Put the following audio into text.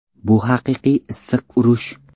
Bu haqiqiy issiq urush.